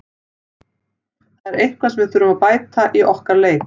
Það er eitthvað sem við þurfum að bæta í okkar leik.